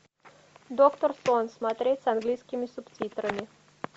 доктор сон смотреть с английскими субтитрами